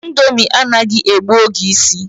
Ndomi anaghi egbu oge isi